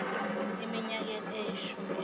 eminyakeni eyishumi edlule